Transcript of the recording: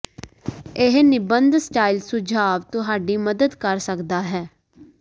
ਇਹ ਨਿਬੰਧ ਸਟਾਈਲ ਸੁਝਾਅ ਤੁਹਾਡੀ ਮਦਦ ਕਰ ਸਕਦਾ ਹੈ